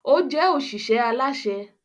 O jẹ oṣiṣẹ alaṣẹ